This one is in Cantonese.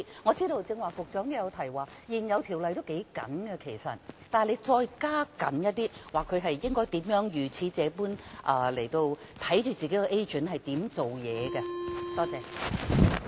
我知道局長剛才也有提及，現有條例已經頗緊，但可否再收緊一點，規定放債人監察他們的 agent 如何辦事呢？